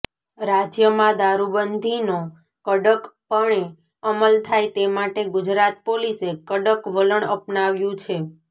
રાજ્યમાં દારૂબંઘીનો કડક પણે અમલ થાય તે માટે ગુજરાત પોલીસે કડક વલણ અપનાવ્યું છે